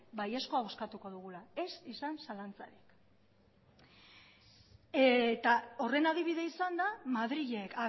baiezkoa bozkatuko dugula ez izan zalantzarik eta horren adibide izanda madrilek